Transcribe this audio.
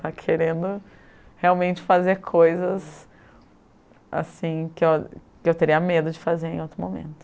Estava querendo realmente fazer coisas, assim, que eu teria medo de fazer em outro momento.